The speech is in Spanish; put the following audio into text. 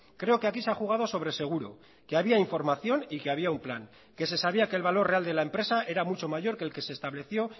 creo que aquí se ha jugado sobre seguro que había información y que había un plan que se sabía que el valor real de la empresa era mucho mayor que el que se estableció